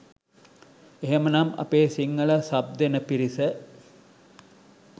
එහෙමනම් අපේ සිංහල සබ් දෙන පිරිස